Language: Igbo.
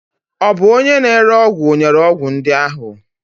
Ọ bụ onye na-ere ọgwụ nyere ọgwụ ndị ahụ?